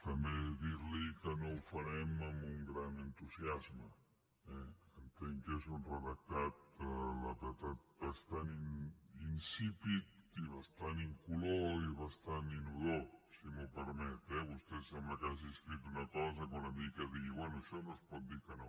també dir li que no ho farem amb un gran entusiasme eh entenc que és un redactat la veritat bastant insípid i bastant incolor i bastant inodor si m’ho permet eh vostè sembla que hagi escrit una cosa que una mica digui bé a això no es pot dir que no